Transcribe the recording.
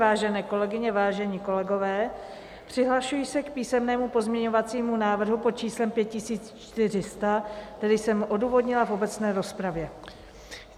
Vážené kolegyně, vážení kolegové, přihlašuji se k písemnému pozměňovacímu návrhu pod číslem 5400, který jsem odůvodnila v obecné rozpravě.